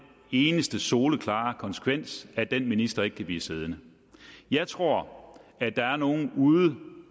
eneste soleklare konsekvens at den minister ikke kan blive siddende jeg tror at der er nogle uden